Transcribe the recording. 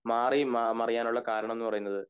മാറി മ മറയാൻ ഉള്ള കാരണം എന്നുള്ളത്